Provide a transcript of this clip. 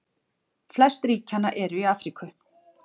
Flest ríkjanna eru í Afríku.